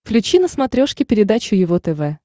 включи на смотрешке передачу его тв